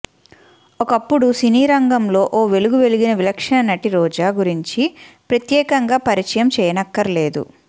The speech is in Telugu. ఒకప్పుడు సినీరంగంలో ఓ వెలుగు వెలిగిన విలక్షణ నటి రోజా గురించి ప్రత్యేకంగా పరిచయం చేయనక్కర్లేదు